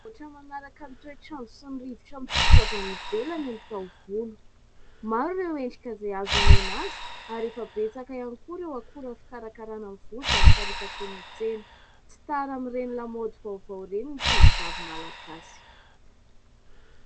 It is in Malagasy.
Ohatry ny manaraka ny toetr'andro sy ny rivotra mitsoka avy any ivelany ny taovolo. Maro ireo endrika izay azo omena azy ary efa betsaka ihany koa ireo akora fikarakarana ny volo izay miparitaka eny an-tsena. Tsy tara amin'ireny lamaody vaovao ireny ny tovovavy Malagasy.